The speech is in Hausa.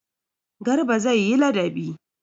Garba zai yi ladabi.